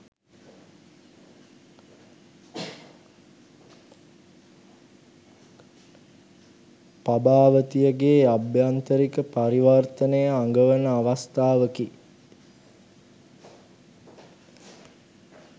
පබාවතියගේ අභ්‍යන්තරික පරිවර්තනය අඟවන අවස්ථාවකි.